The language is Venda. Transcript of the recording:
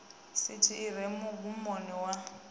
sithi i re mugumoni wa